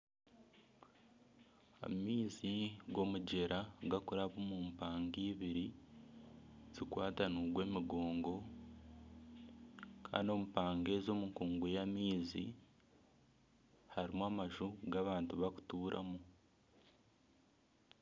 Amaizi g'omugyera gakuraba omu mpanga ibiri zikwatanairwe emigongo. Kandi omu mpanga ezo omu nkugu y'amaizi harimu amaju agu abantu bakutuuramu.